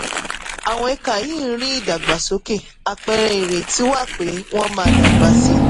àwọn ẹ̀ka yìí ń ń rí ìdàgbàsókè àpẹẹrẹ ìrètí wà pé wọ́n máa dàgbà sí.